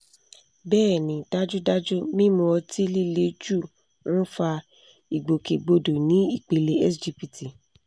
bẹ́ẹ̀ ni dájúdájú mímu ọtí líle jù ń fa ìgbòkègbodò ní ipele sgpt